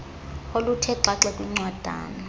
oluthe xaxe kwincwadana